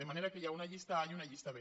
de manera que hi ha una llista a i una llista b